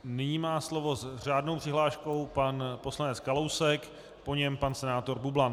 Nyní má slovo s řádnou přihláškou pan poslanec Kalousek, po něm pan senátor Bublan.